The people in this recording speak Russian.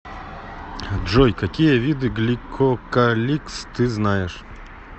джой какие виды гликокаликс ты знаешь